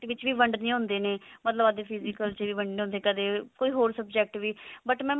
ਦੇ ਵਿੱਚ ਵੀ ਵੰਡਨੇ ਹੁੰਦੇ ਨੇ ਮਤਲਬ ਅੱਜ physical ਚ ਵੀ ਵੰਡਨੇ ਹੁੰਦੇ ਨੇ ਕਦੇ ਕੋਈ ਹੋਰ subject ਵੀ but